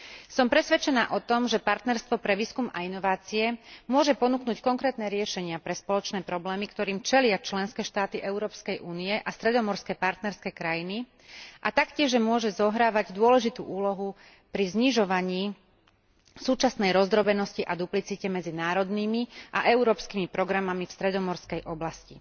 Som presvedčená o tom, že partnerstvo pre výskum a inovácie môže ponúknuť konkrétne riešenia pre spoločné problémy, ktorým čelia členské štáty Európskej únie a stredomorské partnerské krajiny, a taktiež môže zohrávať dôležitú úlohu pri znižovaní súčasnej rozdrobenosti a duplicite medzi národnými a európskymi programami v stredomorskej oblasti.